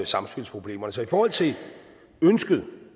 samspilsproblemerne så i forhold til ønsket